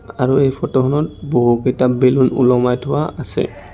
আৰু এই ফটো খনত বহুকেইটা বেলুন ওলমাই থোৱা আছে।